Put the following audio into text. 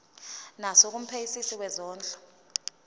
naso kumphenyisisi wezondlo